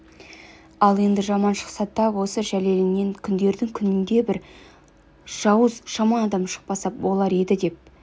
ал енді жаман шықса тап осы жәлеліңнен күндердің күнінде аса бір жауыз жаман адам шықпаса болар еді деп